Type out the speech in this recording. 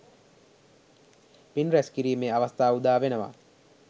පින් රැස්කිරීමේ අවස්ථාව උදාවෙනවා.